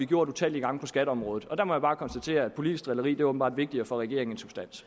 gjort utallige gange på skatteområdet og der må jeg bare konstatere at politisk drilleri åbenbart er vigtigere for regeringen